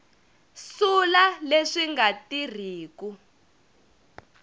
sula leswi swi nga tirhiku